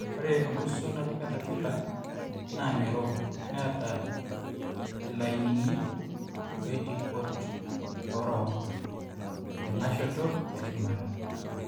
ore enkurto naji catapiller naa ng'iro neeta ilainini oltipot oorook tenashoto eshumata